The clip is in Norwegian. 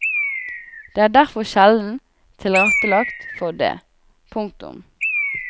Det er derfor sjelden tilrettelagt for det. punktum